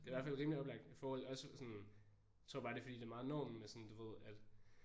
Det i hvert fald rimelig oplagt i forhold også sådan tror bare det er fordi det er meget normen at sådan du ved at